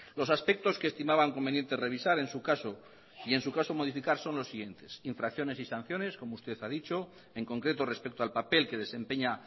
los aspectos que estimaban conveniente revisar en su caso y en su caso modificar son los siguientes infracciones y sanciones como usted ha dicho en concreto respecto al papel que desempeña